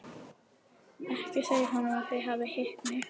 Ekki segja honum að þið hafið hitt mig.